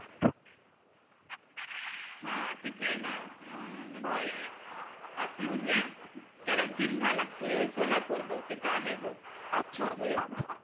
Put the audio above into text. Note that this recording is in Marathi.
हा तिथे आहे णा हम्म म्हणजे आखलूज आहे त्याला जिल्हा लागतो सोलापूर बग तिथे आहे बग अच्छा तो एकदा